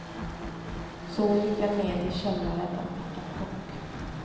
Så gick jag ned i källaren och fick en chock.